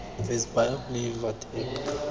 is baie bly want ek